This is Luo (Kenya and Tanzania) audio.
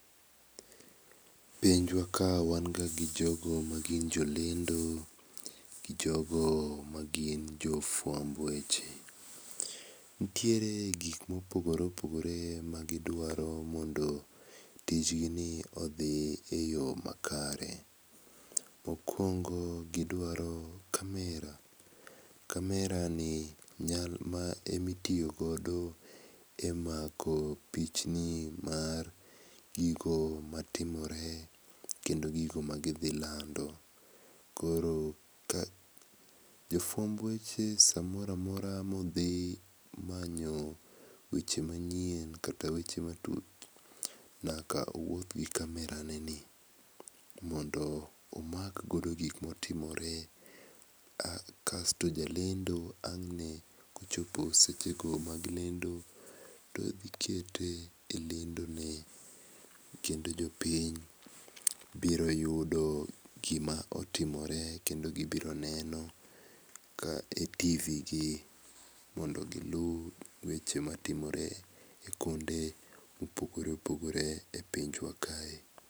Pinywa ka wan ga gi jo magin jolendo, jogo magin jo fuamb weche. Nitiere gik ma opogore opogore magidwaro mondo tijgi ni odhi eyo makare. Mokuongo gidwaro camera, camera ni ema itiyo godo emako pichni mar gigo matimore kendo gigo magidhi lando. Koro jofuamb weche samoro amora magidhi manyo weche manyien kata weche matuch nyaka ouoth gi camera neni mondo omak godo gik ma otimore kasto jalendo klochopo sechego mag lendo to odhi keto e lendone kendo jopiny biro yudo gima otimore kendo gibiro neno e tv gi mondo gi luw weche matimore kuonde mopogore opogore e pinywa kae.